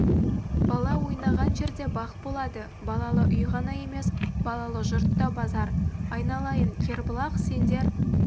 бала ойнаған жерде бақ болады балалы үй ғана емес балалы жұрт та базар айналайын кербұлақ сендер